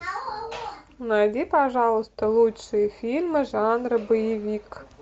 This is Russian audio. найди пожалуйста лучшие фильмы жанра боевик